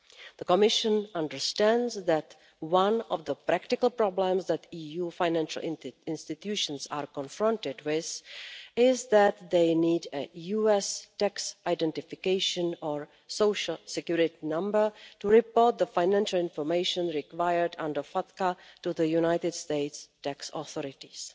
The Commission understands that one of the practical problems that EU financial institutions are confronted with is that they need a US tax identification or social security number to report the financial information required under FATCA to the United States tax authorities.